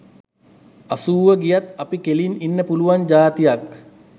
අසූව ගියත් අපි කෙළින් ඉන්න පුළුවන් ජාතියක්.